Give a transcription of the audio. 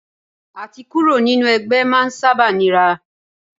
À ti kúrò nínú ẹgbẹ́ máa ń sábà nira.